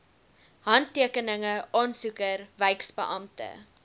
handtekeninge aansoeker wyksbeampte